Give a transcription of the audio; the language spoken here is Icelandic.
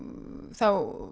þá